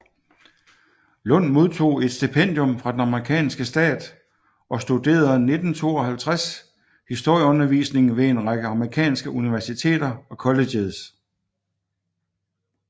Lund modtog et stipendium fra den amerikanske stat og studerede 1952 historieundervisningen ved en række amerikanske universiteter og colleges